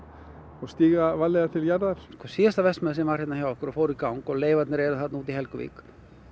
og stíga varlega til jarðar síðasta verksmiðja sem var hérna hjá okkur og fór í gang og leifarnar eru þarna úti í Helguvík